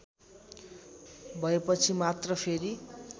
भएपछि मात्र फेरि